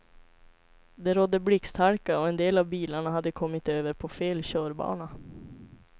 Det rådde blixthalka och en av bilarna hade kommit över på fel körbana.